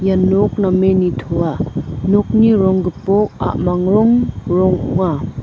ia nok namen nitoa nokni rong gipok a·mang rong ong·a.